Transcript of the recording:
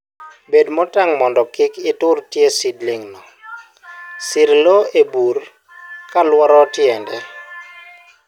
Bed motang' mondo kiktur tie seedlingno, sirr lowo e bur kolouoro tiende.